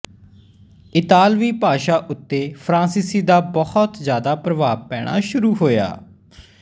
ਇਤਾਲਵੀ ਭਾਸ਼ਾ ਉੱਤੇ ਫਰਾਂਸੀਸੀ ਦਾ ਬਹੁਤ ਜ਼ਿਆਦਾ ਪ੍ਰਭਾਵ ਪੈਣਾ ਸ਼ੁਰੂ ਹੋਇਆ